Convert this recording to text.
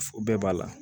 Bɛɛ b'a la